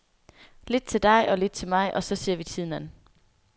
Lidt til dig og lidt til mig, og så ser vi tiden an.